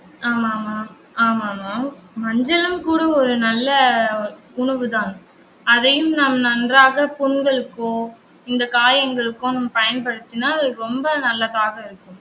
ஆமா ஆமா ஆமா ஆமா மஞ்சளும் கூட ஒரு நல்ல உணவுதான். அதையும் நாம் நன்றாக புண்களுக்கோ இந்த காயங்களுக்கோ நம்ம பயன்படுத்தினால் அது ரொம்ப நல்லதாக இருக்கும்